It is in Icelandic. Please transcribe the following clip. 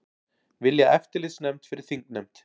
Vilja eftirlitsnefnd fyrir þingnefnd